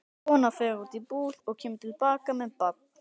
Kona fer út í búð og kemur til baka með barn.